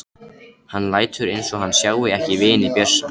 Hann lætur eins og hann sjái ekki vini Bjössa.